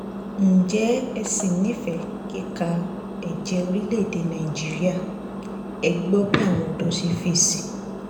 ǹjẹ́ ẹ ṣì nífẹ̀ẹ́ kíka ẹ̀jẹ́ orílẹ̀‐èdè nàíjíríà ẹ gbọ́ bí àwọn ọ̀dọ́ ṣe fèsì